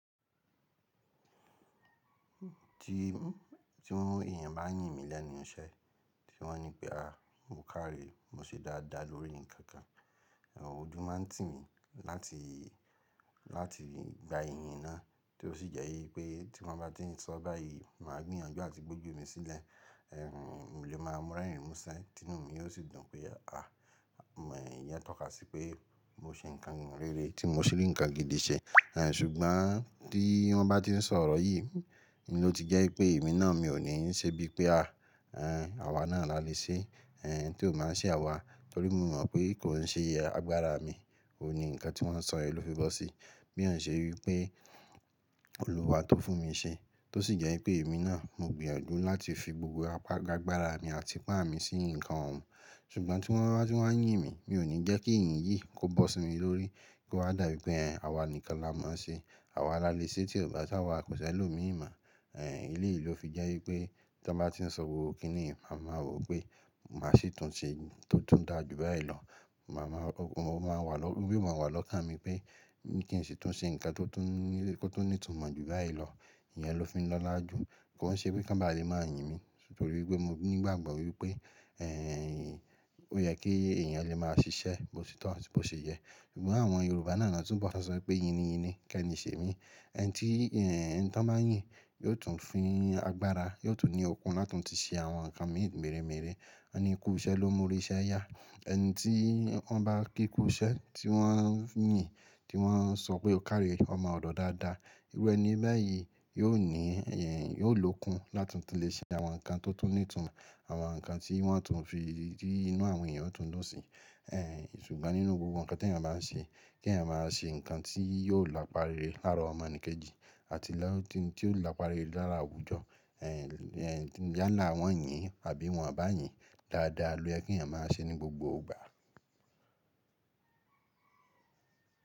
Ti èèyàn bá ń yìn mí lẹ́nu iṣẹ́, tí wọ́n ní pé, "à mo kárí, mo ṣe dáadáa lórí nǹkan kan." Ẹ̀wọ̀ ojú máa ń tì mí láti gba ìyìn náà, tí ó sì jẹ́ wípé tí wọ́n bá ti ń sọ báyìí, màá gbìyànjú àti gboju mi sílẹ̀, mo lé máa rẹ́rìn mú ṣẹ́, tinú mi yóò sì dùn pé, "ìyèn tọ́ka sí pé mo ṣe nǹkan rere, tí mo rí nǹkan gidi ṣẹ." Ṣùgbọ́n tí wọ́n bá ti ń sọ ọ̀rọ̀ yìí, ló ti jẹ́ pé èmi náà mi ò ní ṣe bí pé à, àwa náà la lè ṣe, tí ò báa ṣe àwa, torí mo mọ̀ pé kò n ṣe agbára mi, òun ni nǹkan tí wọ́n sọ yén lò fì fẹ sé. Bí ò ṣe wípé olúwa tó fún mi ṣe, tó sì jẹ́ wípé èmi náà mo gbìyànjú láti fi gbogbo agbára mi àti ipá mi sí nǹkan ọ̀ún. Ṣùgbọ́n tí wọ́n bá ti ń wa yìn mí, mi ò ní jẹ́ kí ìyìn yìí kó bọ́ sí mi lórí, kó wa dá bí pé àwa nìkan la máa ṣe, àwa la lè ṣe tí ò bá ṣáwá, kò ṣẹ̀ lómi mo. Èléyì ló fi jẹ́ wípé ti wón bá ti ń sọ gbogbo kínì ì mi, màá mọ̀ pé màá sì tún ṣe tó tún dáa jù báyìí lọ. Yí o máa wà lọ́ kán mi pé kí n sì tún ṣe nǹkan tó tún ní ìtumọ̀ jù báyìí lọ. Ìyẹn ló fi ń lọ́lá jù. Kò n ṣe wipé kan bá lẹ́ máa yìn mí, torí pé mo nígbàgbọ́ wípé, ó yẹ kí èèyàn lè máa ṣiṣẹ́, bo sì tọ́ atí bo ṣe yẹ. Ṣùgbọ́n àwọn Yorùbá náà náà tún bọ̀ tọ́n sọ pé, "yí ni yí ni, kẹ́ ni ṣe mí." Ẹni tí wọ́n bá yìn yóò tún fun ni agbára, yóò tún ní okun láti tún ti ṣe àwọn nǹkan mì mèré mèré Wọn ni kú iṣẹ́ ló mú oríṣẹ́ yá. Ẹni tí wọ́n bá kí kú iṣẹ́, tí wọ́n ń yìn, tí wọ́n ń sọ pé ó kárí, ó mo ọ̀dọ̀ dáadáa. Irú ẹni bayì yóò ní ókun lá tun ti lè ṣe àwọn nǹkan tó tún ní ìtumọ̀, àwọn nǹkan tí inú àwọn èèyàn yoo tun dún sí. Ṣùgbọ́n nínú gbogbo nǹkan tí èèyàn bá ń ṣe, kí èèyàn máa ṣe nǹkan tí yóò lapá re lára ọmọ ènì kejì àti tí ó lè lapá re lára àwùjọ. Yálà wọ́n yìn àbí wọn bá yìn dáadáa lo yè kí èèyàn máa ṣe ní gbogbo ìgbà.